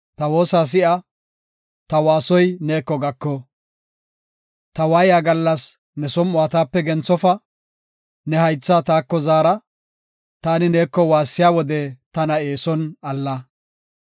Ta waayiya gallas ne som7uwa taape genthofa; ne haytha taako zaara; taani neeko waassiya wode, tana eeson alla.